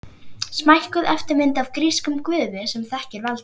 Smækkuð eftirmynd af grískum guði sem þekkir vald sitt.